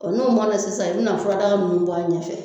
Ɔ n'o mɔna sisan i bi na furadaa nunnu bɔ a ɲɛfɛ